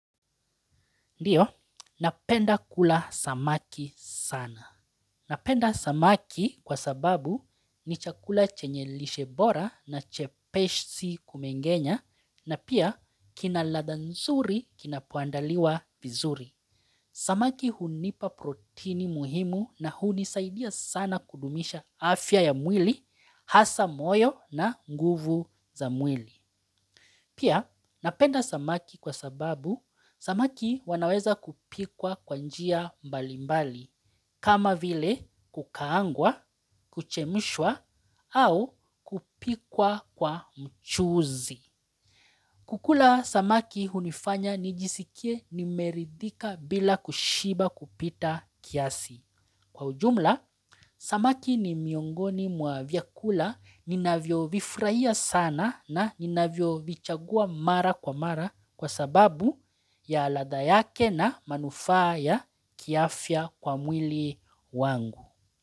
Ndiyo, napenda kula samaki sana. Napenda samaki kwa sababu ni chakula chenye lishe bora na chepeshi kumengenya na pia kina ladha nzuri kinapoandaliwa vizuri. Samaki hunipa protini muhimu na hunisaidia sana kudumisha afya ya mwili, hasa moyo na nguvu za mwili. Pia napenda samaki kwa sababu samaki wanaweza kupikwa kwa njia mbalimbali kama vile kukaangwa, kuchemushwa au kupikwa kwa mchuzi. Kukula samaki hunifanya nijisikie nimeridhika bila kushiba kupita kiasi. Kwa ujumla, samaki ni miongoni mwa vyakula ninavo vifraia sana na ninavyo vichagua mara kwa mara kwa sababu ya ladha yake na manufaa ya kiafya kwa mwili wangu.